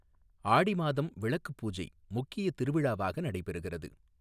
ஆடி மாதம் விளக்கு பூஜை முக்கிய திருவிழாவாக நடைபெறுகிறது.